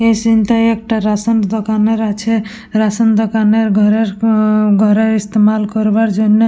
এ সিন্ টায় একটা রেশন দোকানের আছে রেশন দোকানের ঘরের হুম ঘরের ইস্তেমাল করবার জন্যে।